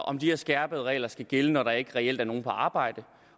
om de her skærpede regler skal gælde når der ikke reelt er nogen på arbejde